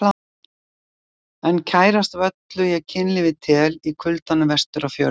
En kærast af öllu ég kynlífið tel, í kuldanum vestur á fjörðum.